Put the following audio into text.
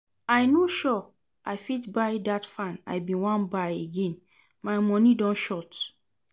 I no sure I fit buy that fan I bin wan buy again, my money don short